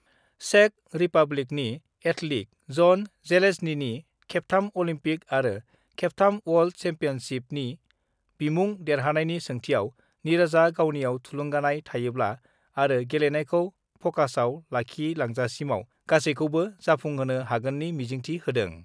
Check रिपाब्लिकनि athlete Jan जेलेज्नीनि खेबथाम अलिम्पिक आरो खेबथाम वर्ल्ड सेम्पियनसिपनि बिमुं देरहानायनि सोंथिआव निरजआ गावनिआव थुलुंगानाय थायोब्ला आरो गेलेनायखौ फकासआव लाखिलांजासिमाव गासैखौबो 'जाफुंहोनो हागोननि मिजिंथि होदों।